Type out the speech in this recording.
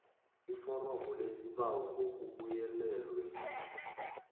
iforomo lesibawo ngokubuyelelwe